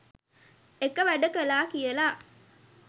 එක වැඩ කලා කියල